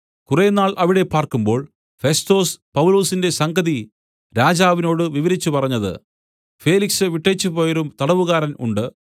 കുറെനാൾ അവിടെ പാർക്കുമ്പോൾ ഫെസ്തൊസ് പൗലൊസിന്റെ സംഗതി രാജാവിനോടു വിവരിച്ചു പറഞ്ഞത് ഫേലിക്സ് വിട്ടേച്ചുപോയൊരു തടവുകാരൻ ഉണ്ട്